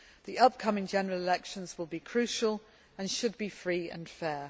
The upcoming general elections will be crucial, and should be free and fair.